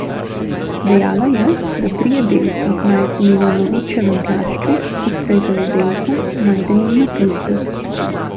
Dejala je, da trije delci, najdeni na Novičevem plašču, ustrezajo delcem, najdenim na tulcu.